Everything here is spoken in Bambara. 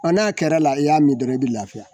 n'a kɛr'a la i y'a min dɔrɔn i bi lafiya.